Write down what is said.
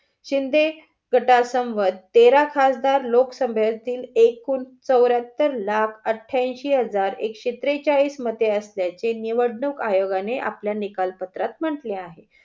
शिंदे गट समवेत तेरा खासदार लोकसभेतील एकूण चवरेहत्तर लाख अटेयांशी हजार एकशे त्रेचाळीस मते असल्याची निवडणूक आयोगाने आपल्या निकाल पत्रात म्हंटले आहे.